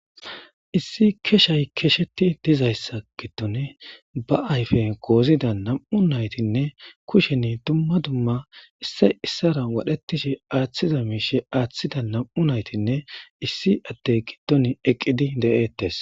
Issi keshshay keshetti dizayssa giddon ba ayppen gozidda nam'u naytinne kushen dumma dumma asay wadhetishe aaththiza miishshe aaththiza nam'u nayttinne issi addey eeqiddi de'ettes